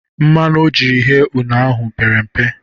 Mmanụ o jiri ghee une ahụ pere mbe.